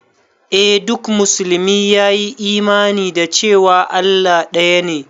Eh duk musulmi ya yi imani da cewa Allah ɗaya ne